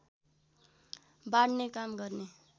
बाँड्ने काम गर्ने